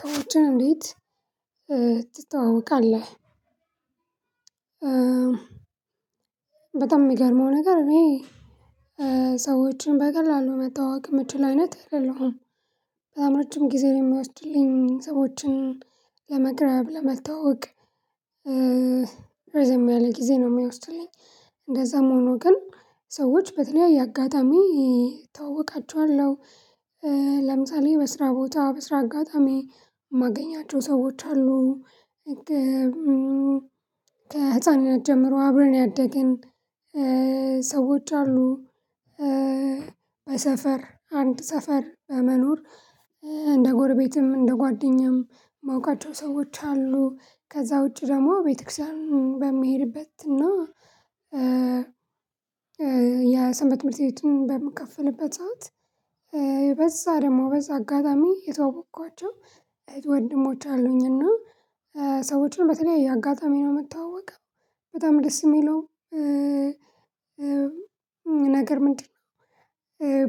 ሰዎችን እንዴት ትተዋወቃለህ? በጣም የሚገርመው ነገር እኔ ሰዎችን በቀላሉ መታወቅ የምትችል አይነት አይደለሁም በጣም ረጅም ጊዜ የሚወስድልኝ ሰዎችን ለመቅረብ ለመታዋወቅ ረዘም ያለ ጊዜ ነው የሚወስድልኝ። እንደዛም ሆኖ ግን ሰዎች በተለያየ አጋጣሚ እተዋወቃቸዋለሁ ለምሳሌ በስራ ቦታ በስራ አጋጣሚ የማገኛቸው ሰዎች አሉ። ከህፃንናት ጀምሮ አብረን ያደግን ሰዎች አሉ። በሰፈር አንድ ሰፈር በመኖር እንደ ጎርቤትም እንደ ጓደኛም ማውቃቸው ሰዎች አሉ። ከዛ ውጪ ደግሞ ቤተክርስቲያን በሚሄድበት እና የሰንበት ትምህርት ቤት በምትከፍልበት ሰዓት በዛ ደግሞ በዛ አጋጣሚ የተዋወቅኳቸው እህት ወንድሞች አሉኝና ሰዎችን በተለያየ አጋጣሚ ነው የምታዋወቀው። በጣም ደስ የሚለው ነገር ምንድነው?